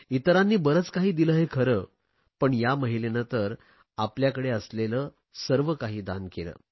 इतरांनी बरेच काही दिले हे खरे पण या महिलेने तर आपल्याकडे असलेले सर्व काही दान केले